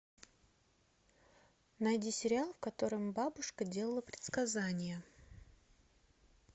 найди сериал в котором бабушка делала предсказания